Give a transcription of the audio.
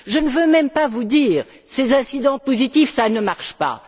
Je ne veux même pas vous dire que ces incitants positifs ne marchent pas.